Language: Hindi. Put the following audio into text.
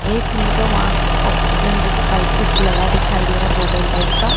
एक में तो माक्स ऑक्सीजन जैसा पाइप कुछ लगा दिखाई दे रहा है बॉटल टाइप का।